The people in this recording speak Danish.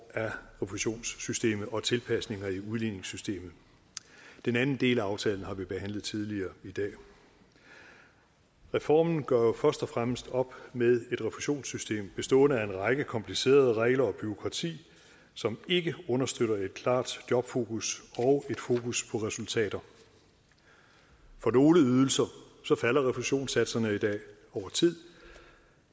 af refusionssystemet og tilpasninger i udligningssystemet den anden del af aftalen har vi behandlet tidligere i dag reformen gør jo først og fremmest op med et refusionssystem bestående af en række komplicerede regler og et bureaukrati som ikke understøtter et klart jobfokus og et fokus på resultater for nogle ydelser falder refusionssatserne i dag over tid